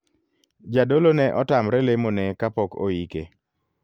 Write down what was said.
Jadolo ne otamre lemo ne kapok oike.